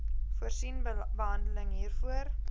voorsien behandeling hiervoor